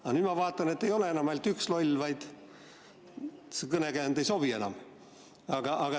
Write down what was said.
Aga nüüd ma vaatan, et ei olegi enam ainult üks loll, see kõnekäänd ei sobi enam.